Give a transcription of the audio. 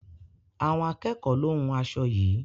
Àwọn akẹ́ẹ̀kọ lo hún aṣo yií.